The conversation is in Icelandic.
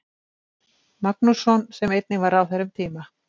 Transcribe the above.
Magnússon sem einnig var ráðherra um tíma.